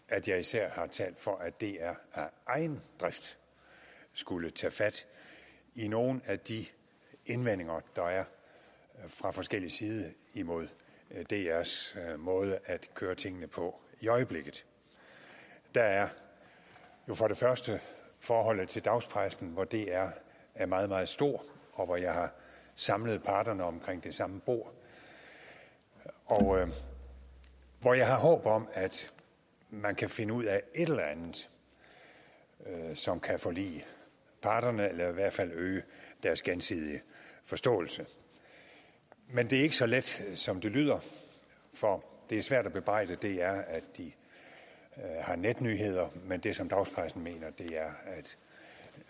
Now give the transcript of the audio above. at jeg især har talt for at dr af egen drift skulle tage fat i nogle af de indvendinger der er fra forskellig side imod drs måde at køre tingene på i øjeblikket der er jo for det første forholdet til dagspressen hvor dr er meget meget stor og hvor jeg har samlet partnerne omkring det samme bord og hvor jeg har håb om at man kan finde ud af et eller andet som kan forlige parterne eller i hvert fald øge deres gensidige forståelse men det er ikke så let som det lyder for det er svært at bebrejde dr at de har netnyheder men det som dagspressen mener er